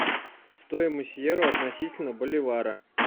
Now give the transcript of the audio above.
стоимость евро относительно боливара